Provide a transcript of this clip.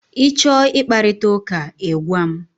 Ị chọọ ị kparịta ụka, ị gwa m!